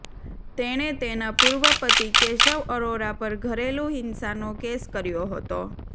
તેણે તેના પૂર્વ પતિ કેશવ અરોરા પર ઘરેલું હિંસાનો કેસ કર્યો હતો